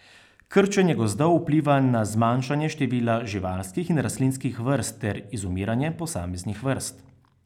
Krčenje gozdov vpliva na zmanjšanje števila živalskih in rastlinskih vrst ter izumiranje posameznih vrst.